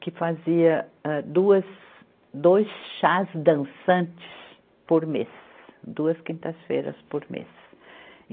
que fazia, âh, duas, dois chás dançantes por mês, duas quintas-feiras por mês.